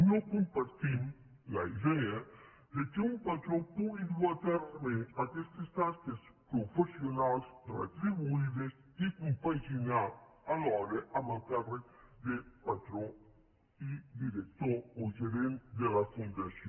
no compartim la idea que un patró pugui dur a terme aquestes tasques professionals retri·buïdes i compaginar·ho alhora amb el càrrec de patró i director o gerent de la fundació